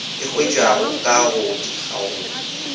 e hwetšwago ka go dikgaolo